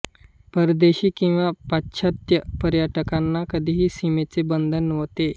परदेशी किंवा पाश्चात्य पर्यटकांना कधीही सीमेचे बंधन नव्हते